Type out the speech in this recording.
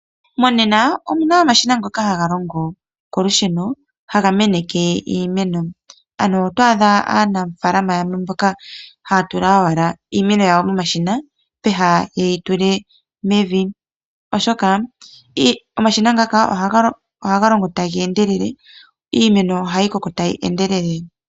Monena oku na omashina ngoka haga longo kolusheno haga meneke iimeno. Oto adha aanafaalama yamwe mboka haya tula owala iimeno yawo momashina peha yeyi tule mevi oshoka omashina ohaga longo taga endelele niimeno ohayi koko tayi endelele.